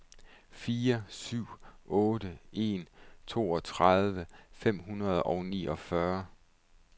fire syv otte en toogtredive fem hundrede og niogfyrre